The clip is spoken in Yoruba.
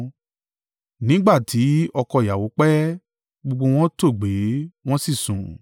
Nígbà tí ọkọ ìyàwó pẹ́, gbogbo wọn tòògbé wọn sì sùn.